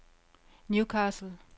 Newcastle